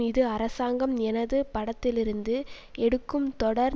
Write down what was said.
இது அரசாங்கம் எனது படத்திலிருந்து எடுக்கும் தொடர்